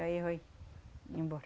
Aí vai embora.